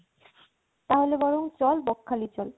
তাহলে বরং চল বকখালি চল